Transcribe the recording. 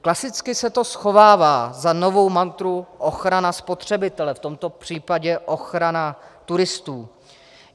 Klasicky se to schovává za novou mantru ochrana spotřebitele, v tomto případě ochrana turistů.